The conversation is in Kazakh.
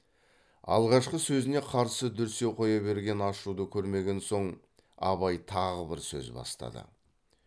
алғашқы сөзіне қарсы дүрсе қоя берген ашуды көрмеген соң абай тағы бір сөз бастады